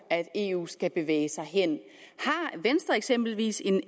at eu skal bevæge sig hen har venstre eksempelvis en